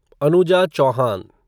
Anuja Chauhan